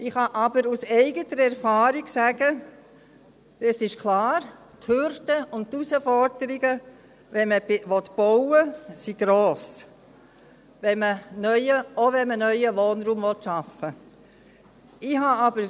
Ich kann aber aus eigener Erfahrung sagen: Es ist klar, die Hürden und Herausforderungen sind gross, wenn man bauen will, auch wenn man neuen Wohnraum schaffen will.